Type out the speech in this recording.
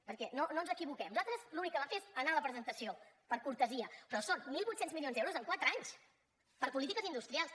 perquè no ens equivoquem nosaltres l’únic que vam fer és anar a la presentació per cortesia però són mil vuit cents milions d’euros en quatre anys per a polítiques industrials